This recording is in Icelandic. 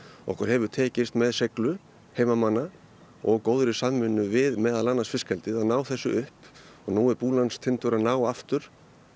okkur hefur tekist með seiglu heimamanna og góðri samvinnu við meðal annars fiskeldi að ná þessu upp og nú er Búlandstindur að ná aftur